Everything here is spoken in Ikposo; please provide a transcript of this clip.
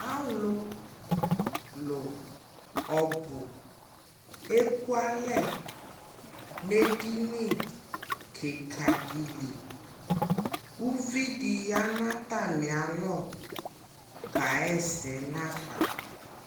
AAlulu ɔbu ɛkua lɛnɛ dini kika di liUvi di ya nu ata mi alɔ ka ɣɛ sɛ na fa